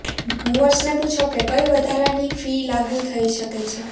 મૂવર્સને પૂછો કે કઈ વધારાની ફી લાગુ થઈ શકે છે